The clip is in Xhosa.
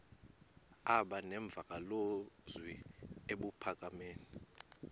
aba nemvakalozwi ebuphakama